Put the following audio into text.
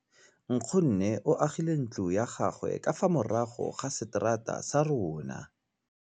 Nkgonne o agile ntlo ya gagwe ka fa morago ga seterata sa rona.